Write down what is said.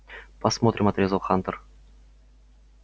посмотрим отрезал хантер